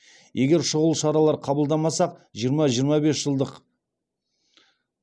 егер шұғыл шаралар қабылдамасақ жиырма жиырма бес жылдық